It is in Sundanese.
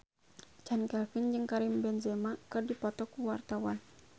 Chand Kelvin jeung Karim Benzema keur dipoto ku wartawan